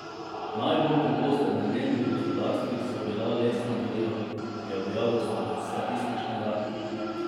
Najbolj pogost energent v gospodinjstvih so bila lesna goriva, je objavil statistični urad.